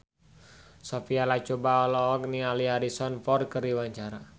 Sophia Latjuba olohok ningali Harrison Ford keur diwawancara